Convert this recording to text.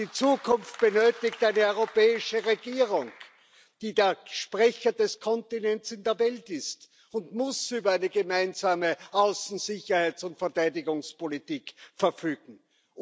Die Zukunft benötigt eine europäische Regierung, die dann Sprecherin des Kontinents in der Welt ist und über eine gemeinsame Außen Sicherheits und Verteidigungspolitik verfügen muss.